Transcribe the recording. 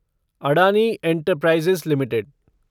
Adani enterprises limited